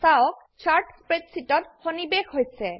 চাওক চার্ট স্প্রেডশীটত সন্নিবেষ হৈছে